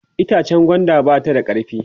itchen gwanda ba ta da karfi